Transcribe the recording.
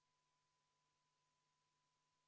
Kohalolijaks registreerus 58 Riigikogu liiget, puudub 43.